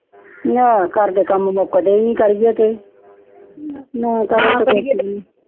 ਨਾ ਘਰ ਦੇ ਕਾਮ ਮੁਕਦੇ ਹੀ ਨੀ ਕਰੀਏ ਤੇ